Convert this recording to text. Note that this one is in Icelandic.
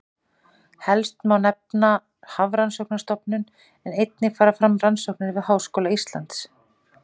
Helst má nefna Hafrannsóknastofnun en einnig fara fram rannsóknir við Háskóla Íslands.